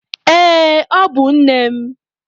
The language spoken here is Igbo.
Ee, ọ bụ nne m.